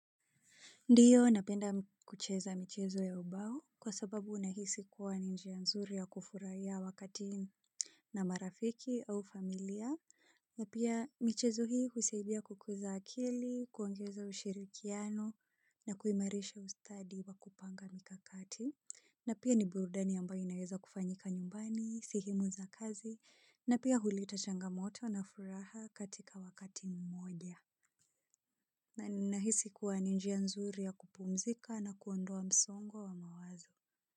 Ndiyo napenda kucheza michezo ya ubao kwa sababu unahisi kuwa ni njia nzuri ya kufurahia wakati na marafiki au familia, na pia michezo hii husadia kukuza akili, kuongeza ushirikiano na kuimarisha ustadi wa kupanga mikakati, na pia ni burudani ambayo inaweza kufanyika nyumbani, sehemu za kazi, na pia huleta changamoto na furaha katika wakati mmoja. Na ninahisi kuwa ni njia nzuri ya kupumzika na kuondoa msongo wa mawazo.